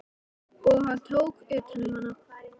Og hann tók utan um hana.